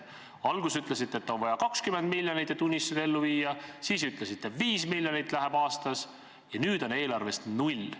Alguses te ütlesite, et on vaja 20 miljonit, et unistusi ellu viia, siis ütlesite, et 5 miljonit läheb aastas, ja nüüd on eelarves selle koha peal null.